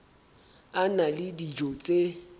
a na le dijo tse